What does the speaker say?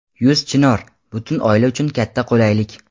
Yuz Chinor — butun oila uchun katta qulaylik!.